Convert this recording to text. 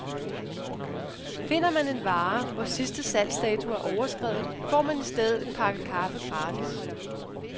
Finder man en vare, hvor sidste salgsdato er overskredet, får man i stedet en pakke kaffe gratis.